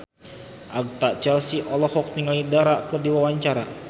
Agatha Chelsea olohok ningali Dara keur diwawancara